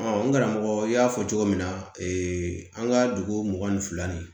n karamɔgɔ y'a fɔ cogo min na an ka dugu mugan ni fila ni